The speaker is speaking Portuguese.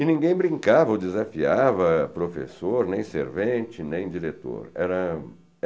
E ninguém brincava ou desafiava professor, nem servente, nem diretor. Era